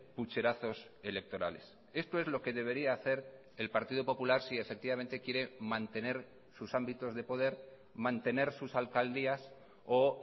pucherazos electorales esto es lo que debería hacer el partido popular si efectivamente quiere mantener sus ámbitos de poder mantener sus alcaldías o